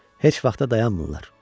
Heç vaxt da dayanmırlar.